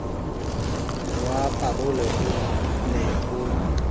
wa parole o ne o